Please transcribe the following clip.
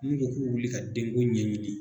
N'u ko k'u be wuli ka den ko ɲɛɲini